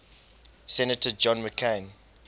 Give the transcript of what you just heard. senator john mccain